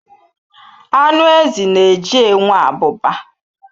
Anụ ezi na-eji enwe abụba.